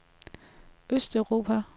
østeuropa